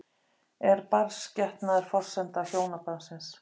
Er barnsgetnaður forsenda hjónabandsins?